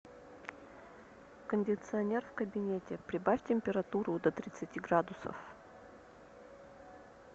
кондиционер в кабинете прибавь температуру до тридцати градусов